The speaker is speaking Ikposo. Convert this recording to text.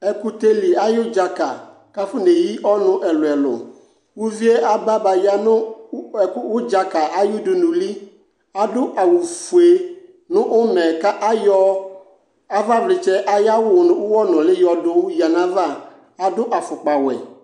Ɛkʋtɛli ayʋdzaka kafoneyi ɔnʋ ɛlʋɛlʋ ; uvie aba baya nʋ ukpa ʋdzaka ay'udunuli Adʋ awʋfue nʋ ʋmɛ ka ayɔ avavlɩtsɛ ayawʋ nʋ ʋwɔnʋlɩ yoyǝ n'ayava : adʋ afʋkpawɛ